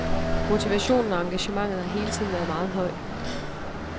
Motivationen og engagementet har hele tiden været meget høj.